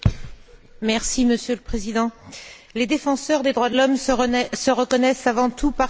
Monsieur le Président, les défenseurs des droits de l'homme se reconnaissent avant tout par ce qu'ils font.